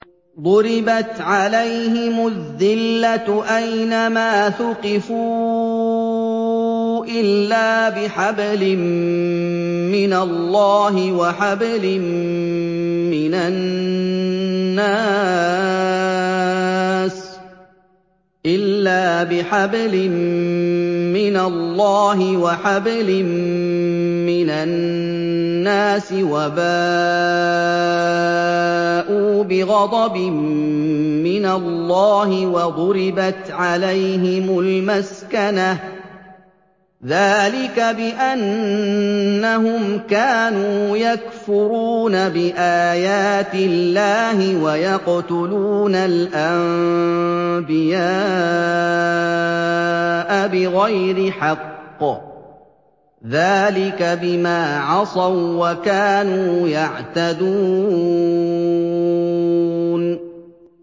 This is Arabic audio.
ضُرِبَتْ عَلَيْهِمُ الذِّلَّةُ أَيْنَ مَا ثُقِفُوا إِلَّا بِحَبْلٍ مِّنَ اللَّهِ وَحَبْلٍ مِّنَ النَّاسِ وَبَاءُوا بِغَضَبٍ مِّنَ اللَّهِ وَضُرِبَتْ عَلَيْهِمُ الْمَسْكَنَةُ ۚ ذَٰلِكَ بِأَنَّهُمْ كَانُوا يَكْفُرُونَ بِآيَاتِ اللَّهِ وَيَقْتُلُونَ الْأَنبِيَاءَ بِغَيْرِ حَقٍّ ۚ ذَٰلِكَ بِمَا عَصَوا وَّكَانُوا يَعْتَدُونَ